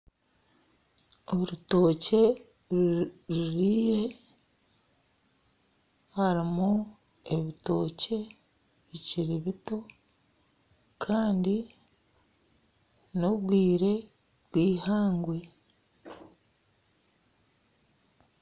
Orutookye ruriire harimu ebitookye bikiri bito kandi n'obwire bw'eihangwe.